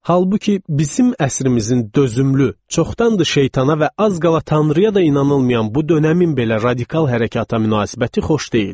Halbuki bizim əsrimizin dözümlü, çoxdandı şeytana və az qala tanrıya da inanılmayan bu dönəmin belə radikal hərəkəta münasibəti xoş deyildi.